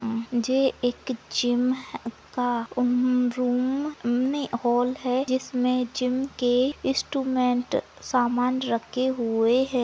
जे एक जिम का हम्म रूम हम्म नै हॉल है जिसमे जिम के इंस्ट्रूमेंट सामान रखे हुए है।